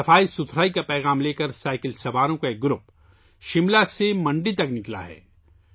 cycle سواروں کا ایک گروپ صفائی کا پیغام لے کر شملہ سے منڈی کے لئے نکلا ہے